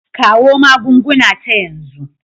Kawo magunguna ta yanzu.